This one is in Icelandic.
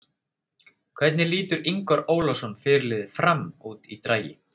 Hvernig lítur Ingvar Ólason fyrirliði FRAM út í dragi?